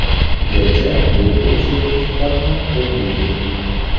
gacha bepul) sertifikatni qo‘lga kiriting.